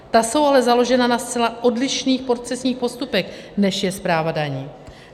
Ta jsou ale založena na zcela odlišných procesních postupech, než je správa daní.